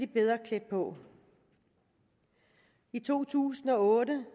bedre klædt på i to tusind og otte